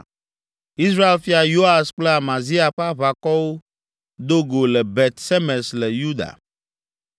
Israel fia Yoas kple Amazia ƒe aʋakɔwo do go le Bet Semes le Yuda.